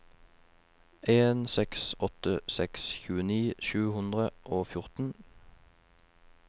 en seks åtte seks tjueni sju hundre og fjorten